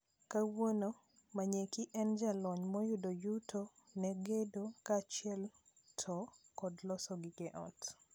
Kawuono, Manyeki en jalony mayudo yuto ne gedo kaachiel to kod loso gige ot.